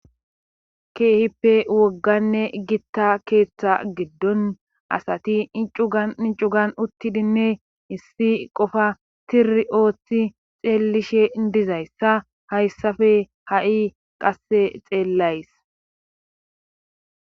keehippe wogganne gitta keeththa giddon asati incugan incugan uttidinne issi qofa tiri ooththi xeellishe dizayssa hayssafe ha7i qasse xeellays